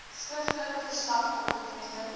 skriftelike verslag opgeteken